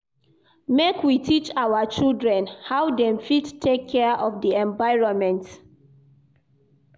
Make we teach our children how dem fit take care of di environment.